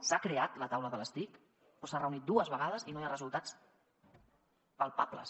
s’ha creat la taula de les tic però s’ha reunit dues vegades i no hi ha resultats palpables